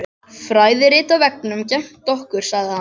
Fræðirit á veggnum gegnt okkur sagði hann.